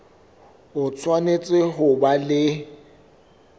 o tshwanetse ho ba le